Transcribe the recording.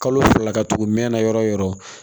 Kalo fila ka tugu mɛnna yɔrɔ o yɔrɔ